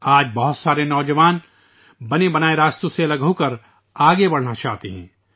آج ، بہت سے نوجوان بنے بنائے راستوں سے الگ ہو کر آگے بڑھنا چاہتے ہیں